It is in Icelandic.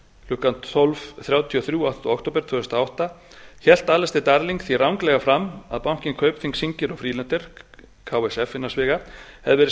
klukkan tólf þrjátíu og þrjú áttunda október tvö þúsund og átta hélt alistair darling því ranglega fram að bankinn kaupthing singer og friedlander hefði verið settur